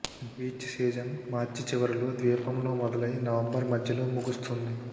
beach season మార్చి చివరిలో ద్వీపంలో మొదలై నవంబర్ మధ్యలో ముగుస్తుంది